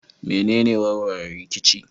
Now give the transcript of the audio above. Me ne warware rikici?